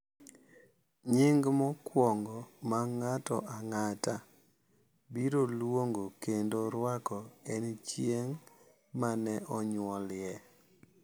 nying’ mokwongo ma ng’ato ang’ata biro luongo kendo rwako en chieng’ ma ne onyuolie.